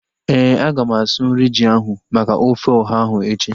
Éè, aga m asụ nri ji ahu maka ofe ọha ahu echi